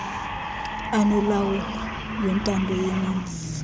anolawulo lwentando yeninzi